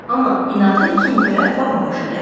Amma inadı Kintoya baha başa gəldi.